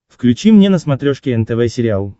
включи мне на смотрешке нтв сериал